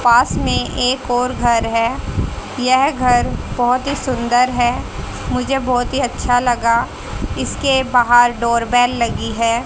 पास में एक और घर है यह घर बहोत ही सुंदर है मुझे बहोत ही अच्छा लगा इसके बाहर डोर बेल लगी है।